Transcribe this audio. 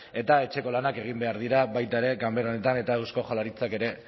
eta etxeko lanak egin behar dira baita ere ganbera honetan eta eusko jaurlaritzak ere